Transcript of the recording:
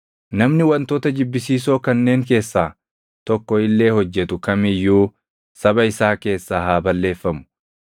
“ ‘Namni wantoota jibbisiisoo kanneen keessaa tokko illee hojjetu kam iyyuu saba isaa keessaa haa balleeffamu.